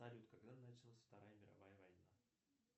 салют когда началась вторая мировая война